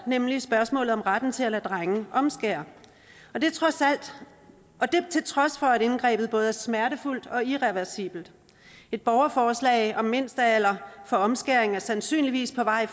nemlig spørgsmålet om retten til at lade drenge omskære og det til trods for at indgrebet både er smertefuldt og irreversibelt et borgerforslag om mindstealder for omskæring er sandsynligvis på vej